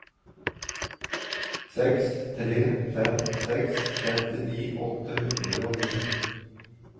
seks tre fem seks femtini åtte hundre og ni